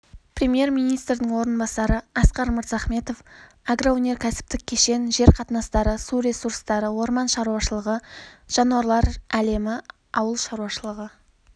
премьер-министрдің орынбасары асқар мырзахметов агроөнеркәсіптік кешен жер қатынастары су ресурстары орман шаруашылығы жануарлар әлемі ауыл шаруашылығы